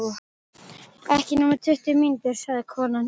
Ekki nema tuttugu mínútur, sagði konan.